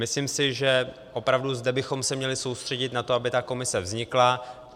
Myslím si, že opravdu zde bychom se měli soustředit na to, aby ta komise vznikla.